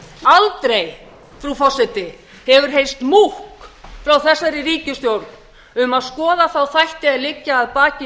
aldrei frú forseti hefur heyrst múkk frá þessari ríkisstjórn um að skoða þá þætti að liggja að baki